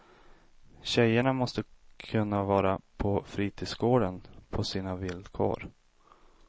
Tjejerna måste kunna vara på fritidsgården på sina villkor.